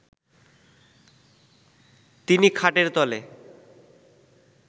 তিনি খাটের তলে